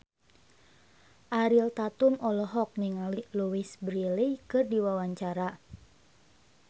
Ariel Tatum olohok ningali Louise Brealey keur diwawancara